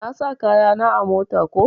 Na sa kaya na a mota ko.